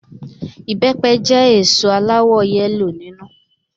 Ìbẹpẹ jẹ́ èso aláwọ yẹ́lò nínú